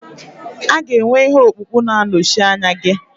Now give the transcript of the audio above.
A ga-enwe ihe ọkpụkpụ na-anọchi anya gị.